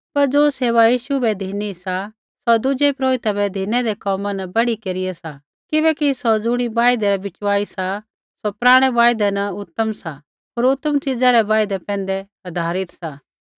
पर ज़ो सेवा यीशु बै धिनी सा सौ दुज़ै पुरोहिता बै धिनैदै कोमा न बढ़ीकेरिया सा किबैकि सौ ज़ुणी वायदै रा बिचवाई सा सौ पराणै वायदै न उतम सा होर उतम च़ीज़ा रै वायदै पैंधै आधारित सा